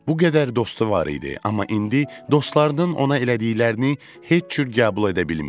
Bu qədər dostu var idi, amma indi dostlarının ona elədiklərini heç cür qəbul edə bilmirdi.